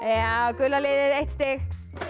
gula liðið eitt stig